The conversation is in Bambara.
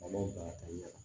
A ma baara kɛ